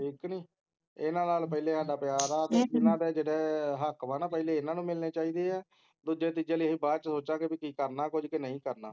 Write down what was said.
ਠੀਕ ਨੀ ਇੰਨਾ ਨਾਲ ਪਹਿਲੇ ਸਾਡਾ ਪਿਆਰ ਹੈ ਇੰਨਾ ਦੇ ਜਿਹੜੇ ਹੱਕ ਹੈ, ਪਹਿਲੇ ਇੰਨਾ ਨੂੰ ਮਿਲਨੇ ਚਾਹੀਦੇ ਹੈ ਦੂਜੇ ਤੀਜੇ ਲਈ ਅਸੀਂ ਬਾਅਦ ਚ ਸੋਚਾਂਗੇ ਕੇ ਕਿ ਕਰਨਾ ਕੁਝ ਕੇ ਨੀ ਕਰਨਾ